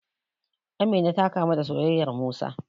Amina ta kamu da soyayyar Musa.